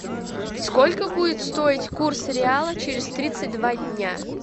сколько будет стоить курс реала через тридцать два дня